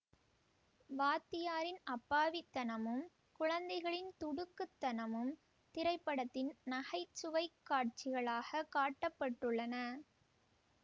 வாத்தியாரின் அப்பாவித்தனமும் குழந்தைகளின் துடுக்குத்தனமும் திரைப்படத்தின் நகைச்சுவைக் காட்சிகளாக காட்ட பட்டுள்ளன